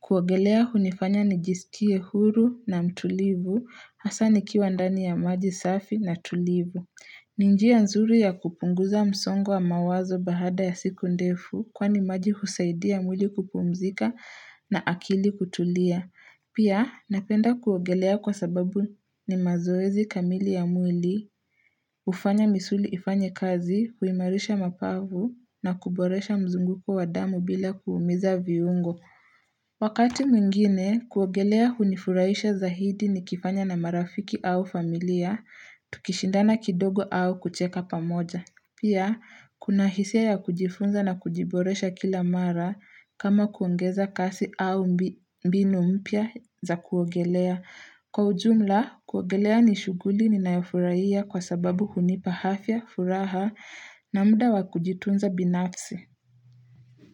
Kuogelea hunifanya nijisikie huru na mtulivu, hasa nikiwa ndani ya maji safi na tulivu. Ni njia nzuri ya kupunguza msongo mawazo baada ya siku ndefu kwani maji husaidia mwili kupumzika na akili kutulia. Pia, napenda kuogelea kwa sababu ni mazoezi kamili ya mwili, hufanya misuli ifanye kazi, huimarisha mapavu na kuboresha mzunguko wa damu bila kuumiza viungo. Wakati mwingine, kuogelea hunifurahisha zaidi nikifanya na marafiki au familia, tukishindana kidogo au kucheka pamoja. Pia, kuna hisia ya kujifunza na kujiboresha kila mara kama kuongeza kasi au mbinu mpya za kuogelea. Kwa ujumla, kuogelea ni shughuli ninayofurahia kwa sababu hunipa afya, furaha na muda wa kujitunza binafsi.